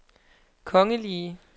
kongelige